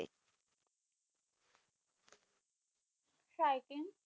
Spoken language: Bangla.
Skiing